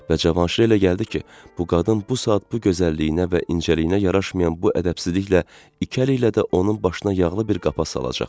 Və Cavanşirə elə gəldi ki, bu qadın bu saat bu gözəlliyinə və incəliyinə yaraşmayan bu ədəbsizliklə iki əli ilə də onun başına yağlı bir qapa salacaq.